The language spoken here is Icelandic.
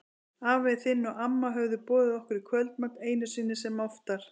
Afi þinn og amma höfðu boðið okkur í kvöldmat, einu sinni sem oftar.